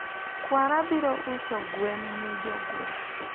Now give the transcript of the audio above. kwara biro uso gwen ni jogweng